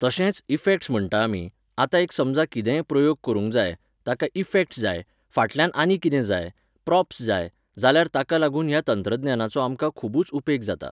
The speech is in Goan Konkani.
तशेंच, इफॅक्ट्स् म्हणटा आमी, आतां एक समजा कितेंय प्रयोग करूंक जाय, ताका इफॅक्ट्स जाय, फाटल्यान आनी कितें जाय, प्रॉप्स जाय, जाल्यार ताका लागून ह्या तंत्रज्ञानाचो आमकां खुबूच उपेग जाता.